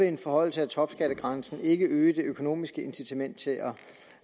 en forhøjelse af topskattegrænsen ikke øge det økonomiske incitament til